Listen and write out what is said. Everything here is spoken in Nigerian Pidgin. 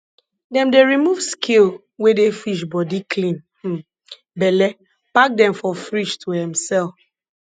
dem dey remove scale wey dey fish bodi clean um belle pack dem for fridge to um sell